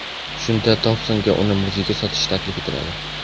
Shunda Tompsonga uni muzeyga sotish taklif etiladi.